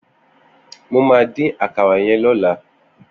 Mó mà din àkàrà yèn lọ̀là